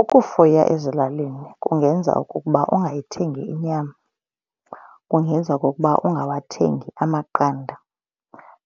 Ukufuya ezilalini kungenza ukuba ungayithengi inyama. Kungenza okokuba ungawathengi amaqanda.